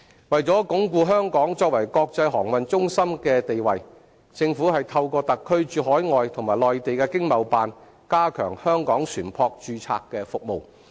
為鞏固香港作為國際航運中心的地位，政府透過特區駐海外和內地的經貿辦，加強香港船舶註冊的服務。